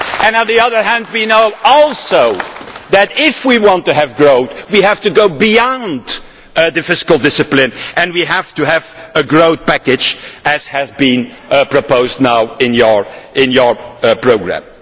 On the other hand we know also that if we want to have growth we have to go beyond the fiscal discipline and we have to have a growth package, as has been proposed now in your programme.